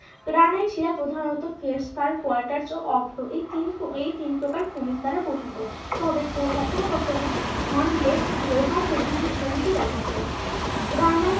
Granite শিলা প্রধানত এই তিন এই তিন প্রকার খনিজ দ্বারা গঠিত তবে কখনো কখনো হনব্লেড লোহা প্রভৃতি খনিজ দেখা যায়। গ্রানাইট